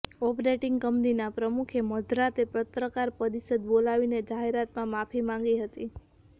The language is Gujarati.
ઓપરેટિંગ કંપનીના પ્રમુખે મધરાતે પત્રકાર પરિષદ બોલાવીને જાહેરમાં માફી માગી હતી